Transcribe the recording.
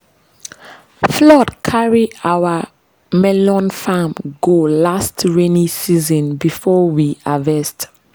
flood carry our melon farm go last rainy season before we harvest.